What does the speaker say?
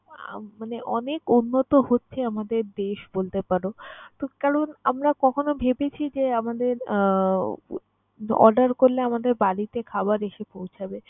উম মানে অনেক উন্নত হচ্ছে আমাদের দেশ বলতে পারো। তো কারণ, আমরা কখনও ভেবেছি যে, আমাদের আহ order করলে আমাদের বাড়িতে খাবার এসে পৌঁছাবে?